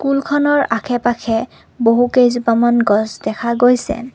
School খনৰ আশে পাশে বহু কেইজুপামান গছ দেখা গৈছে।